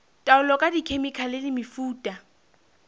taolo ka dikhemikhale le mefuta